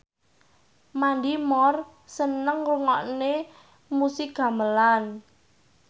Mandy Moore seneng ngrungokne musik gamelan